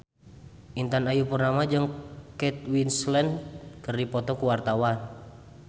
Intan Ayu Purnama jeung Kate Winslet keur dipoto ku wartawan